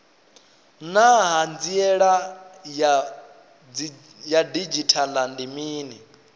naa hanziela ya didzhithala ndi mini